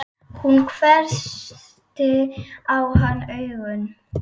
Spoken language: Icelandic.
Hún hvessti á hann augun.